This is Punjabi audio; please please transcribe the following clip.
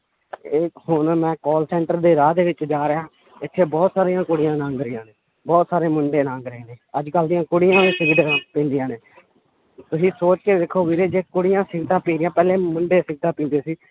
ਇਹ ਹੁਣ ਮੈਂ call center ਦੇ ਰਾਹ ਦੇ ਵਿੱਚ ਜਾ ਰਿਹਾਂ ਇੱਥੇ ਬਹੁਤ ਸਾਰੀਆਂ ਕੁੜੀਆਂ ਲੰਘ ਰਹੀਆਂ ਨੇ ਬਹੁਤ ਸਾਰੇ ਮੁੰਡੇ ਲੰਘ ਰਹੇ ਨੇ ਅੱਜ ਕੱਲ੍ਹ ਦੀਆਂ ਕੁੜੀਆਂ ਵੀ ਸਿਗਰਟਾਂ ਪੀਂਦੀਆਂ ਨੇ ਤੁਸੀਂ ਸੋਚ ਕੇ ਵੇਖੋ ਵੀਰੇ ਜੇ ਕੁੜੀਆਂ ਸਿਗਰਟਾਂ ਪੀ ਰਹੀਆਂ ਪਹਿਲੇ ਮੁੰਡੇ ਸਿਗਰਟਾਂ ਪੀਂਦੇ ਸੀ